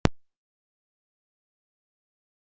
Hvernig væri hægt að sekta mig?